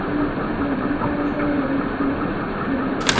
ये एक बहुत बड़ा सा रूम है जहाँ पे--